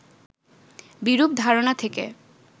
বিরূপ ধারণা থেকে